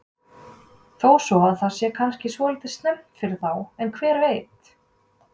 Þó svo að það sé kannski svolítið snemmt fyrir þá en hver veit?